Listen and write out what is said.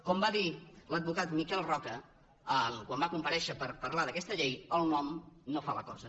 com va dir l’advocat miquel roca quan va comparèixer per parlar d’aquesta llei el nom no fa la cosa